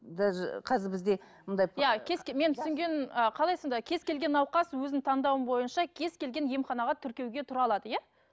даже қазір бізде мұндай иә менің түсінгенім қалай сонда кез келген науқас өзінің таңдауы бойынша кез келген емханаға тіркеуге тұра алады иә